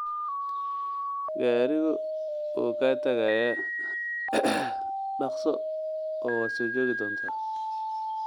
Gaadhigu wuu kaa tagayaa, dhaqso oo waad joogi doontaa.